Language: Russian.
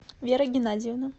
вера геннадьевна